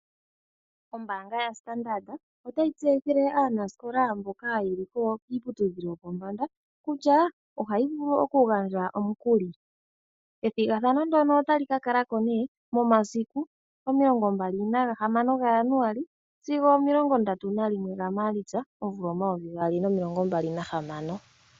Ombaanga yaStandard otayi tseyithile aanasikola mboka yeli kiiputudhilo yopombanda kutya ohayi vulu okugandja omukuli. Ethigathano ndono otali ka kala ko nee momasiku 26 Januali sigo 31 Maalitsa 2026.